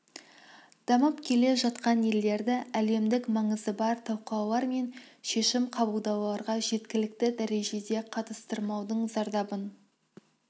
дамып келе жатқан елдерді әлемдік маңызы бар талқылаулар мен шешім қабылдауларға жеткілікті дәрежеде қатыстырмаудың зардабын